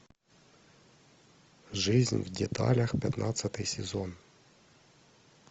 жизнь в деталях пятнадцатый сезон